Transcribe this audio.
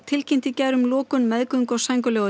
tilkynnti í gær um lokun meðgöngu og